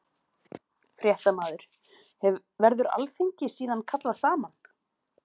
Fréttamaður: Verður alþingi síðan kallað saman?